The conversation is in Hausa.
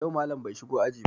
Yau Mallam bai shigo aji ba